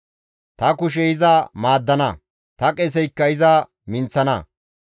Ta kushey iza maaddana; ta qeseykka iza minththana.